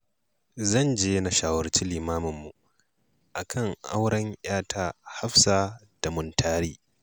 Zan je na shawarci limaminmu a kan auren 'yata Hafsa da Muntari